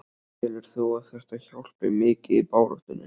Telur þú að þetta hjálpi mikið í baráttunni?